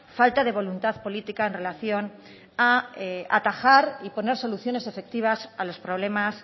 falta de voluntad política en relación a atajar y poner soluciones efectivas a los problemas